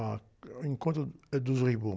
ah, é o encontro, eh, dos Rei Momos.